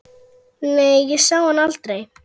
Nei, ég sá hann aldrei.